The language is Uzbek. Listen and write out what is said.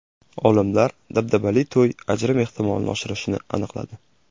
Olimlar dabdabali to‘y ajrim ehtimolini oshirishini aniqladi.